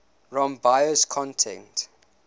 rom bios content